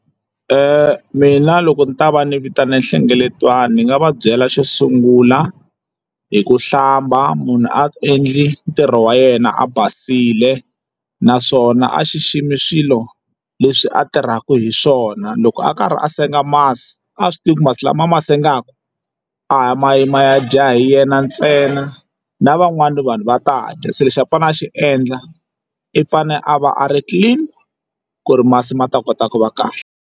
Mina loko ni ta va ni vitane nhlengeletano ni nga va byela xo sungula hi ku hlamba munhu a endli ntirho wa yena a basile naswona a xiximi swilo leswi a tirhaka hi swona loko a karhi a senga masi a swi tivi ku masi lama a ma sengaku a ma yi ma ya dya hi yena ntsena na van'wani vanhu va ta dya se lexi a fanele a xi endla i fane a va a ri clean ku ri masi ma ta kota ku va kahle.